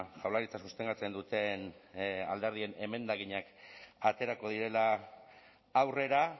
jaurlaritza sostengatzen duten alderdien emendakinak aterako direla aurrera